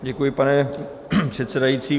Děkuji, pane předsedající.